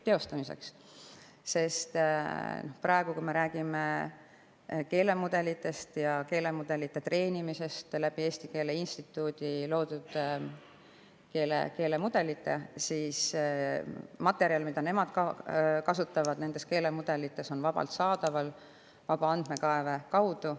Kui me näiteks räägime keelemudelitest ja treenimisest Eesti Keele Instituudi loodud keelemudelite abil, siis see materjal, mida nemad nendes keelemudelites kasutavad, on vabalt saadaval vaba andmekaeve kaudu.